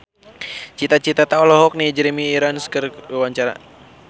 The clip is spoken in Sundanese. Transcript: Cita Citata olohok ningali Jeremy Irons keur diwawancara